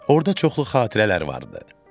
Orada çoxlu xatirələr var idi.